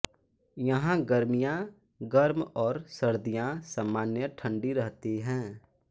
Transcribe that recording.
यहाँ गर्मियाँ गर्म और सर्दियाँ सामान्य ठण्डी रहती हैं